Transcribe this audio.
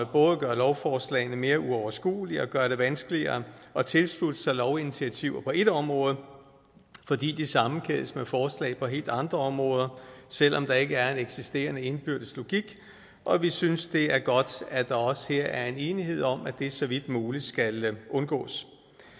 både gør lovforslagene mere uoverskuelige og gør det vanskeligere at tilslutte sig lovinitiativer på et område fordi de sammenkædes med forslag på helt andre områder selv om der ikke er en eksisterende indbyrdes logik og vi synes det er godt at der også her er en enighed om at det så vidt muligt skal undgås